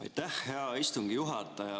Aitäh, hea istungi juhataja!